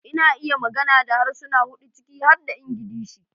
Ina iya magana da harsuna hudu ciki har da Ingilishi